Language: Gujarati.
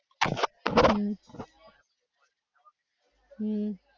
હમ્મ હમમ.